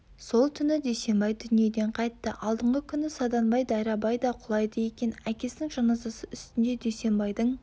сол түні дүйсенбай дүниеден қайтты алдыңғы күні саданбай дайрабай да құлайды екен әкесінің жаназасы үстінде дүйсенбайдың